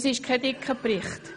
Es ist kein dicker Bericht.